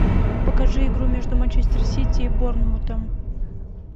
покажи игру между манчестер сити и борнмутом